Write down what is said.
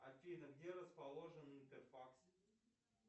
афина где расположен интерфакс